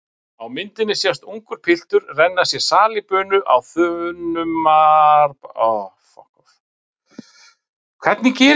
Á myndinni sést ungur piltur renna sér salíbunu á þunnum matarbakka.